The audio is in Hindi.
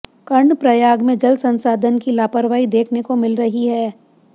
कर्णप्रयाग में जलसंस्थान की लापरवाही देखने को मिल रही है